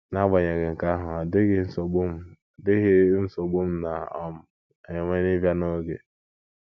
N’agbanyeghị nke ahụ, ọ dịghị nsogbu m dịghị nsogbu m na - um enwe n’ịbịa n’oge.